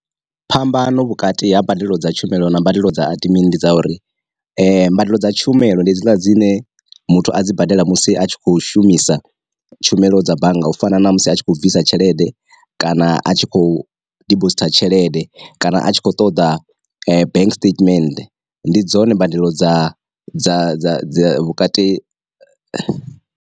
Phambano vhukati ha mbadelo dza tshumelo na mbadelo dza adimini ndi dza uri, mbadelo dza tshumelo ndi hedziḽa dzine muthu a dzi badela musi a tshi kho shumisa tshumelo dza bannga u fana na musi a tshi kho bvisa tshelede, kana a tshi khou dibositha tshelede, kana a tshi kho ṱoḓa bank statement, ndi dzone mbadelo dza dza vhukati.